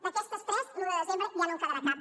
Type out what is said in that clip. d’aquestes tres l’un de desembre ja no en quedarà cap